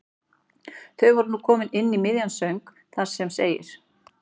Þau voru nú komin inn í miðjan söng þar sem segir